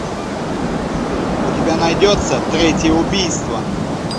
у тебя найдется третье убийство